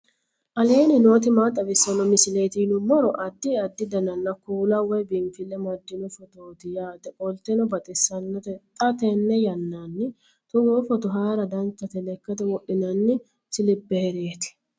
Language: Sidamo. aleenni nooti maa xawisanno misileeti yinummoro addi addi dananna kuula woy biinfille amaddino footooti yaate qoltenno baxissannote xa tenne yannanni togoo footo haara danchate lekkate wodhinanni siliphereeti